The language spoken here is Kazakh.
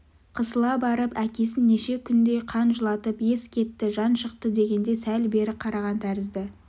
қысыла барып әкесін неше күндей қан жылатып ес кетті жан шықты дегенде сәл бері қараған тәрізді